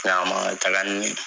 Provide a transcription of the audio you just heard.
a ma taga ni n ye.